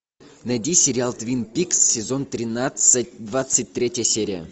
найди сериал твин пикс сезон тринадцать двадцать третья серия